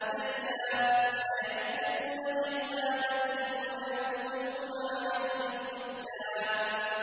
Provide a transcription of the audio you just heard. كَلَّا ۚ سَيَكْفُرُونَ بِعِبَادَتِهِمْ وَيَكُونُونَ عَلَيْهِمْ ضِدًّا